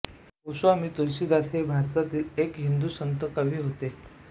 गोस्वामी तुलसीदास हे भारतातील एक हिंदू संत कवी होते